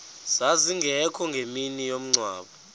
zazingekho ngemini yomngcwabo